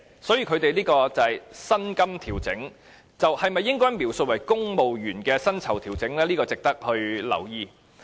所以，他們的薪金調整應否描述為公務員的薪酬調整，這點值得留意。